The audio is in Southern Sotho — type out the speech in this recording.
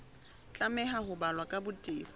tlameha ho balwa ka botebo